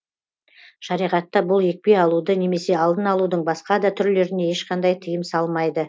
шариғатта бұл екпе алуды немесе алдын алудың басқа да түрлеріне ешқандай тыйым салмайды